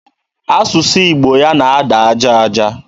Asụsụ Igbo ya na-ada aja aja.